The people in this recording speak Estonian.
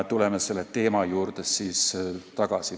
Tuleme selle teema juurde veel tagasi.